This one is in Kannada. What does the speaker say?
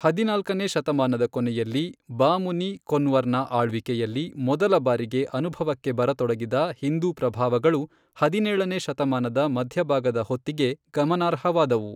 ಹದಿನಾಲ್ಕನೇ ಶತಮಾನದ ಕೊನೆಯಲ್ಲಿ, ಬಾಮುನಿ ಕೊನ್ವರ್ನ ಆಳ್ವಿಕೆಯಲ್ಲಿ ಮೊದಲಬಾರಿಗೆ ಅನುಭವಕ್ಕೆ ಬರತೊಡಗಿದ ಹಿಂದೂ ಪ್ರಭಾವಗಳು ಹದಿನೇಳನೇ ಶತಮಾನದ ಮಧ್ಯಭಾಗದ ಹೊತ್ತಿಗೆ ಗಮನಾರ್ಹವಾದವು.